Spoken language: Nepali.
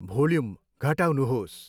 भोल्युम घटाउनुहोस्।